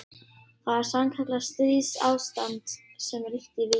Það var sannkallað stríðsástand sem ríkti í Víkinni.